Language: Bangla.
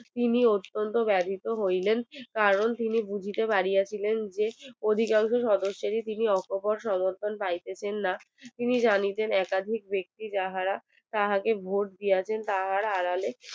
তিনি অত্যন্ত বাধিত হইলেন কারণ তিনি বুঝিতে পারিয়াছিলেন যে অধিকাংশ সদস্সেরই তিনি সমর্থন পাইতেছেন না তিনি জানিতেন একাধিক ব্যাক্তি যাহারা তাহাকে vote দিয়া চে তাহারা আড়ালে